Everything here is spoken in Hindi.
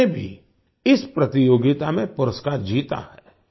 उन्होंने भी इस प्रतियोगिता में पुरस्कार जीता है